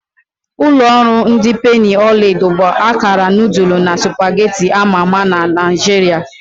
Ulo oru ndi penni ọla edo bụ akara nudulu na supagetti ama ama na Naijiria.